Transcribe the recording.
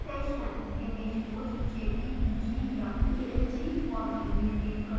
image को jpeg या png format में सेव करें